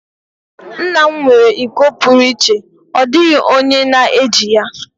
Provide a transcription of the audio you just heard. nna m nwere iko pụrụ iche, ọ dịghị onye na-eji ya.